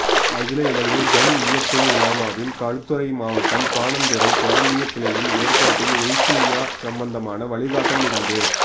அகில இலங்கை ஜம்இய்யத்துல் உலமாவின் களுத்துறை மாவட்டம் பாணந்துறை பிராந்திய கிளையின் ஏற்பாட்டில் உழ்கிய்யா சம்பந்தமான வழிகாட்டல் நிகழ்வு